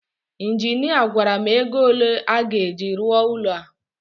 injinia gwara m ego ole a ga-eji rụọ ụlọ a